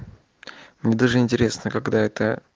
мне даже интересно когда это